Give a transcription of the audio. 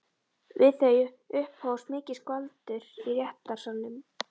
Við þau upphófst mikið skvaldur í réttarsalnum.